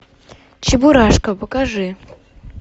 чебурашка покажи